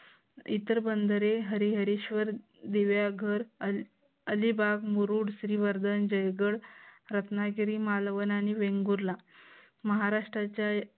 इतर बंधरे हरिहरेश्वर विलायगर अलिबाग मुरुड श्रीवर्धन जयगड रत्नागिरी मालवण आणि वेंगुर्ला महाराष्ट्राच्या